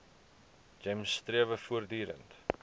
gems strewe voortdurend